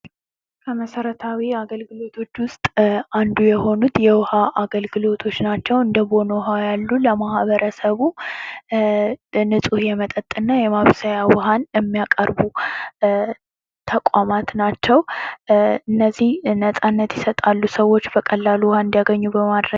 ከመሰረታዊ አገልግሎቶች ውስጥ አንዱ የሆኑት የውሃ አገልግሎቶች ናቸው ። እንደቦን ያሉ ለማህበረሰቡ ንጹህ የመጠጥና የመብሰያ ውሃን የሚያቀርቡ ተቋማት ናቸው ። እነዚህ ነፃነት ይሰጣሉ ሰዎች በቀላሉ ውሃ እንዲያገኙ በማድረግ